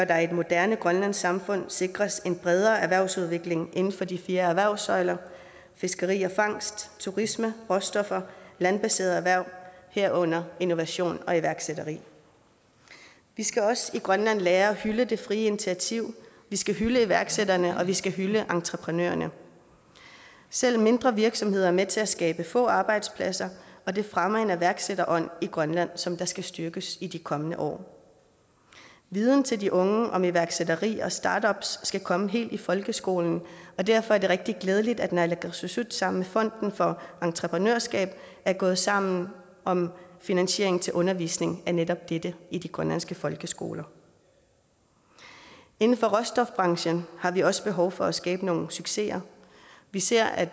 der i et moderne grønlandsk samfund sikres en bredere erhvervsudvikling inden for de fire erhvervssøjler fiskeri og fangst turisme råstoffer landbaserede erhverv herunder innovation og iværksætteri vi skal også i grønland lære at hylde det frie initiativ vi skal hylde iværksætterne og vi skal hylde entreprenørerne selv mindre virksomheder er med til at skabe få arbejdspladser og det fremmer en iværksætterånd i grønland som der skal styrkes i de kommende år viden til de unge om iværksætteri og startups skal komme helt i folkeskolen og derfor er det rigtig glædeligt at naalakkersuisut sammen med fonden for entreprenørskab er gået sammen om finansiering til undervisning af netop dette i de grønlandske folkeskoler inden for råstofbranchen har vi også behov for at skabe nogle succeser vi ser at